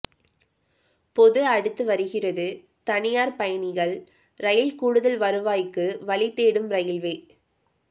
பொது அடுத்து வருகிறது தனியார் பயணிகள் ரயில் கூடுதல் வருவாய்க்கு வழி தேடும் ரயில்வே